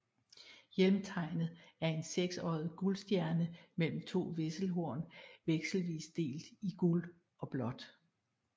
Hjelmtegnet er en seksoddet guld stjerne mellem to vesselhorn vekselvis delt i guld og blåt